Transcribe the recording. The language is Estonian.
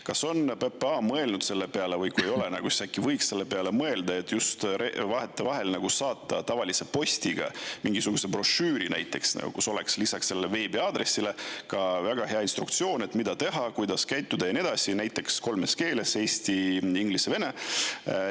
Kas PPA on mõelnud selle peale – või kui ei ole, siis äkki võiks selle peale mõelda –, et vahetevahel saata tavalise postiga näiteks mingisuguse brošüüri, kus oleks lisaks sellele veebiaadressile väga hea instruktsioon, mida teha, kuidas käituda ja nii edasi, näiteks kolmes keeles: eesti, inglise, vene?